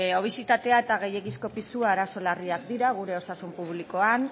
obesitatea eta gehiegizko pisua arazo larriak dira gure osasun publikoan